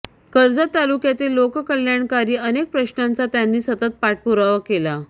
कर्जत तालुक्यातील लोककल्यणाकारी अनेक प्रश्नांचा त्यांनी सतत पाठपुरावा केला